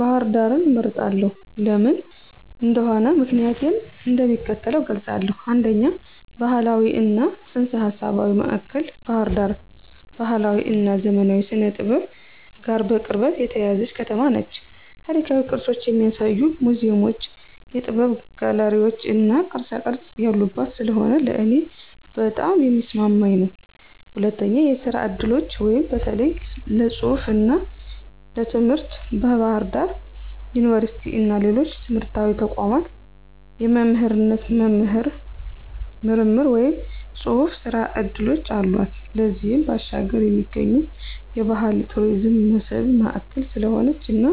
ባህር ዳርን እመርጣለሁ። ለምን እንደሆነ ምክንያቲን እንደሚከተለው እገልፃለሁ፦ 1, ባህላዊ እና ፅንሰ-ሀሳባዊ ማእከል ባህር ዳር ባህላዊ እና ዘመናዊ ስነ-ጥበብ ጋር በቅርበት የተያያዘች ከተማ ነች። ታሪካዊ ቅርሶችን የሚያሳዩ ሙዚየሞች፣ የጥበብ ጋለሪዎች እና ቅርፃቅረፅ ያሉባት ስለሆነ ለእኔ በጣም የሚስማማኝ ነው። 2, የስራ እድሎች (በተለይ ለፅሁፍ እና ትምህርት) ፦ በባህር ዳር ዩኒቨርሲቲ እና ሌሎች ትምህርታዊ ተቋማት የመምህርነት፣ የምርምር ወይም የጽሑፍ ሥራ ዕድሎች አሏት። ከዚያም ባሻገር የሚገኙ የባህል የቱሪዝም መስህብ ማእከል ስለሆነች እና